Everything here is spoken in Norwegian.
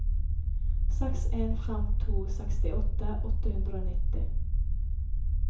seks en fem to sekstiåtte åtte hundre og nitti